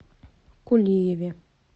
кулиеве